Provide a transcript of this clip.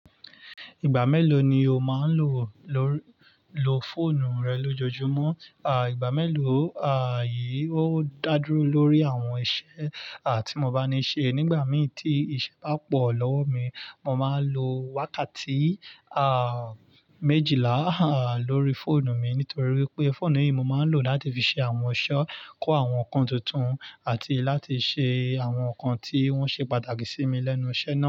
Ìgbà mélòó ni o máa ń lo, lo fóònù rẹ lójoojúmọ́? Igbà mélòó, ó dá dúró lórí àwọn iṣẹ́ tí mo bá níi ṣe. Nígbà mii tí iṣẹ́ bá pọ̀ lọ́wọ́ mi, mo máa ń lo wákàtí à méjìlá lórí fóònù mi nítorí wípé fóònù yìí mo máa ń lò láti fi ṣe àwọn iṣe, kọ́ àwọn ǹkan tuntun àti láti ṣe àwọn ǹkan tí wọ́n ṣe pàtàkì sí mi lẹ́nu iṣẹ́ mi naa.